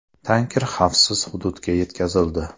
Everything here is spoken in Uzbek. Tanker xavfsiz hududga yetkazildi.